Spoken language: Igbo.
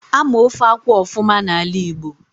Ama ofe akwụ ofuma n'ala Igbo